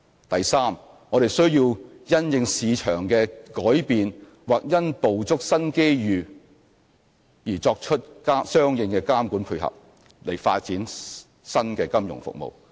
第三，我們需要因應市場的改變或因捕捉新機遇而作出相應的監管配合，以發展新的金融服務。